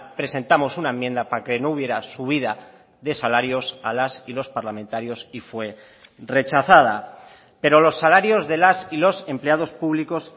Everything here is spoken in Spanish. presentamos una enmienda para que no hubiera subida de salarios a las y los parlamentarios y fue rechazada pero los salarios de las y los empleados públicos